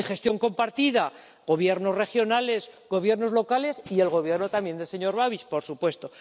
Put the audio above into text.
En gestión compartida gobiernos regionales, gobiernos locales y el Gobierno también del señor Babiš, por supuesto.